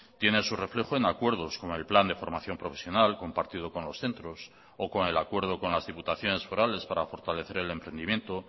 tiene su reflejo en acuerdos con el plan de formación profesional compartido con los centros o con el acuerdo con las diputaciones forales para fortalecer el entendimiento